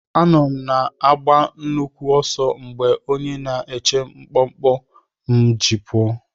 Anọ m na-agba nnukwu ọsọ mgbe onye na-eche mkpọmkpọ m ji pụọ.